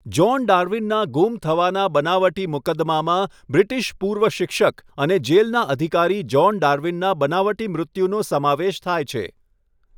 John ડાર્વિનનાં ગુમ થવાના બનાવટી મુકદમામાં બ્રિટિશ પૂર્વ શિક્ષક અને જેલના અધિકારી જ્હોન ડાર્વિનના બનાવટી મૃત્યુનો સમાવેશ થાય છે.